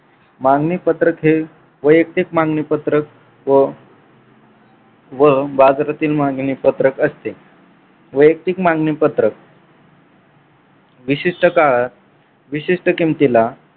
मागणी पत्रक हे वैयक्तिक मागणी पत्रक व व बाजारातील मागणी पत्रक असते. वैयक्तिक मागणी पत्रक विशिष्ट काळात विशिष्ट किमतीला